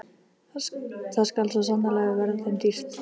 Það skal svo sannarlega verða þeim dýrt!